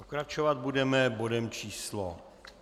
Pokračovat budeme bodem číslo